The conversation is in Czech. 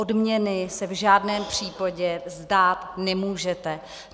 Odměny se v žádném případě vzdát nemůžete.